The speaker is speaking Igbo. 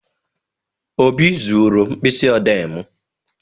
Obi zuru mkpịsị odee m.